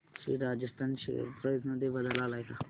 Shri Rajasthan share price मध्ये बदल आलाय का